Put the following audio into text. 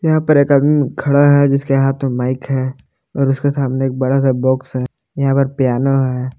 यहां पर एक आदमी खड़ा है जिसके हाथों माइक है और उसके सामने एक बड़ा सा बॉक्स है यहां पर पियानो है।